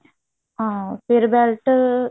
ਹਾਂ ਫ਼ੇਰ belt